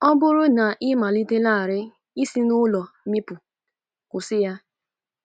Ọ bụrụ na ị malitelarị i si n'ulo mịpụ, kwụsị ya!